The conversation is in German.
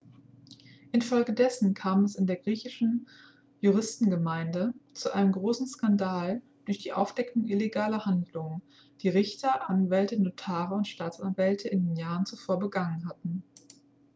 infolgedessen kam es in der griechischen juristengemeinde zu einem großen skandal durch die aufdeckung illegaler handlungen die richter anwälte notare und staatsanwälte in den jahren zuvor begangen hatten